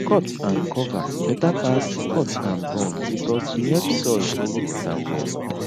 cutandcover better pass cutandburn because e help soil hold water well